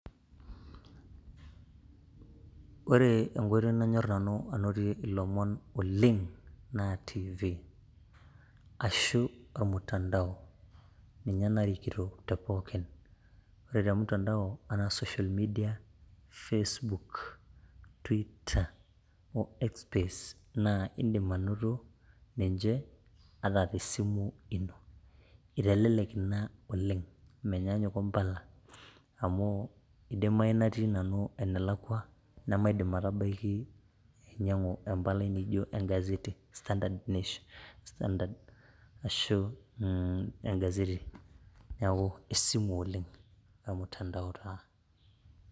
ore enkoitoi nanyor nanu anotie ilomon oleng naa tv ashu ormutandao ninye narikito te pookin. ore te mutandao ashu te social media, facebook, Twitter[[cs o x space. naa idim anoto ninche ata tesimu ino. itelelek oleng. menyaanyuk ompala. amu idimayu natii nanu enelakua, nemaidim atabaiki ainyiang'u empalai naijo e gazeti standard nation, standard ashu egazeti, neeku esimu oleng ormutandao taa.